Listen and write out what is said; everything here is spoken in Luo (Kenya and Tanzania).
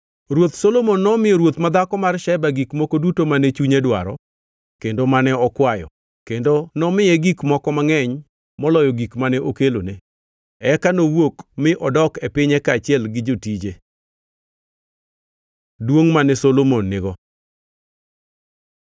Ruoth Solomon nomiyo ruoth madhako mar Sheba gik moko duto mane chunye dwaro kendo mane okwayo; kendo nomiye gik moko mangʼeny moloyo gik mane okelone. Eka nowuok mi odok e pinye kaachiel gi jotije. Duongʼ mane Solomon nigo